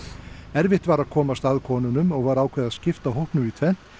erfitt var að komast að konunum og var ákveðið að skipta hópnum í tvennt